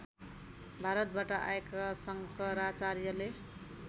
भारतबाट आएका शङ्कराचार्यले